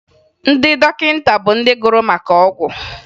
Ndị dọkịta bụ ndị gụrụ maka ọgwụ